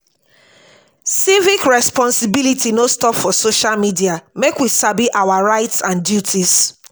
civic responsibility no stop for social media make we sabi our rights and duties.